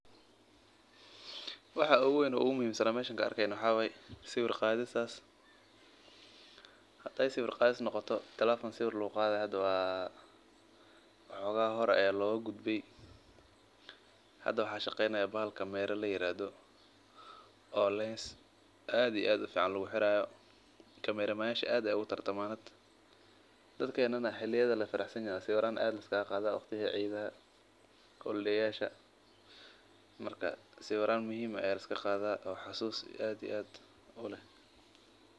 Waxa oogu weyn oo ogu muhiim san waxaa waye sawir qaadis telefonka sawir lagu qaado waa laga tage oo kamera ayaa lagu qaada hada dadka waqtiyaha la faraxsan yahay aya liska qada sawiiran.